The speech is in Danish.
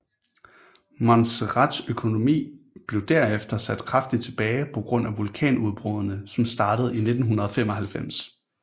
Montserrats økonomi blev derefter sat kraftig tilbage på grund af vulkanudbruddene som startede i 1995